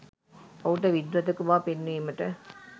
ඔහුද විද්වතෙකු බව පෙන්වීමට